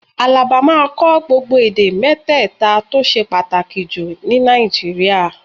Àlàbá máa kọ́ gbogbo èdè mẹ́tẹ̀ta tó ṣe pàtàkì jù ní Nàìjíríà